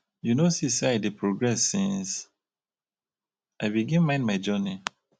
you no see sey i dey progress since i begin mind my journey?